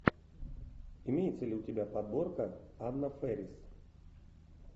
имеется ли у тебя подборка анна фэрис